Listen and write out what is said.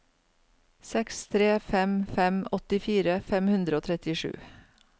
seks tre fem fem åttifire fem hundre og trettisju